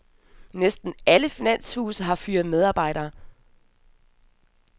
Næsten alle finanshuse har fyret medarbejdere.